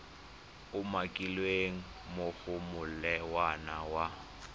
umakilweng mo go molawana wa